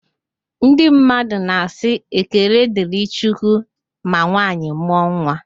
Ndị mmadụ na asị "ekele dịrị chukwu" ma nwanyị mụọ nwa